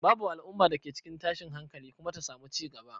Babu al'umma da ke cikin tashin hankali kuma ta samu cigaba.